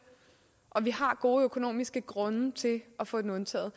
og vi har defor gode økonomiske grunde til at få den undtaget